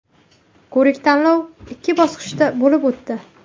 Ko‘rik-tanlov ikki bosqichda bo‘lib o‘tdi.